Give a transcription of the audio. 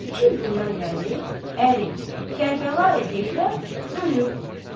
İki il bundan irəli əri Kərbəlayı Heydər ölüb.